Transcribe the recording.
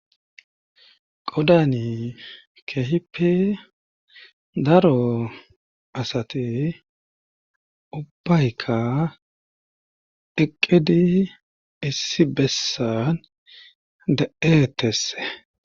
Qodani keehipe daro asati ubbaykka eqqedi issi bessan de'eetesse.